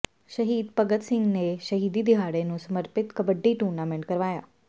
ਸ਼ਹੀਦ ਭਗਤ ਸਿੰਘ ਦੇ ਸ਼ਹੀਦੀ ਦਿਹਾੜੇ ਨੂੰ ਸਮਰਪਿਤ ਕਬੱਡੀ ਟੂਰਨਾਮੈਂਟ ਕਰਵਾਇਆ